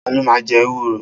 Ta ló ma jẹ ewúro?